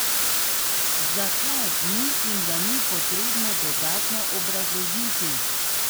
Zakaj, mislim, da ni potrebno dodatno obrazložiti.